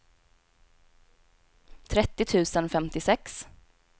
trettio tusen femtiosex